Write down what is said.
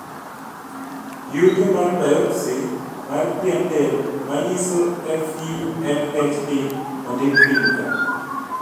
yuto mar biopsy mar pien del manyiso FUMHD ondik piny ka